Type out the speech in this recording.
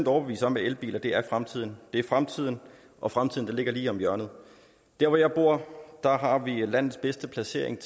overbevist om at elbiler er fremtiden de er fremtiden og fremtiden ligger lige om hjørnet der hvor jeg bor har vi landets bedste placering